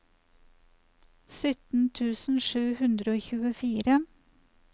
sytten tusen sju hundre og tjuefire